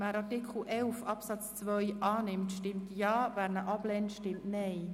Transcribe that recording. Wer Artikel 11 Absatz 2 zustimmt, stimmt Ja, wer diesen ablehnt, stimmt Nein.